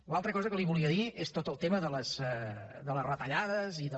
l’altra cosa que li volia dir és tot el tema de les retallades i del